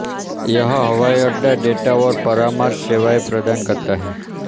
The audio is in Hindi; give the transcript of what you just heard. यह हवाई अड्डा डेटा और परामर्श सेवाएं प्रदान करता है